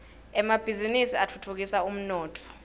emabhizini atfutfukisa umnotfo